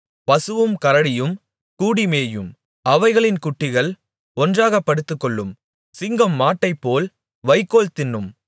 பசுவும் கரடியும் கூடிமேயும் அவைகளின் குட்டிகள் ஒன்றாகப் படுத்துக்கொள்ளும் சிங்கம் மாட்டைப்போல் வைக்கோல் தின்னும்